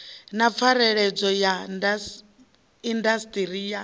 na pfareledzwa ya indasiṱiri ya